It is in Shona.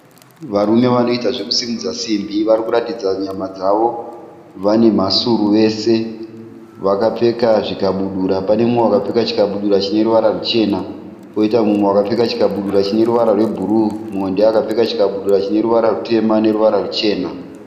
Varume vanoita zvokusimudza simbi vari kuratidza nyama dzavo. Vane mhasuru vese. Vakapfeka zvikabudura. Pane mumwe akapfeka chikabudura chine ruvara ruchena poita mumwe akapfeka chikabudura chine ruvara rwebhuruu. Mumwe ndoakapfeka chikabudura chine ruvara rutema noruvara ruchena.